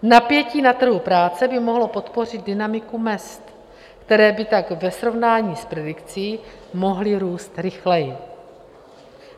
Napětí na trhu práce by mohlo podpořit dynamiku mezd, které by tak ve srovnání s predikcí mohly růst rychleji.